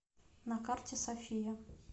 на карте софия